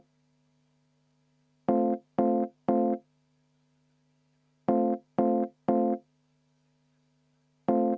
Aitäh!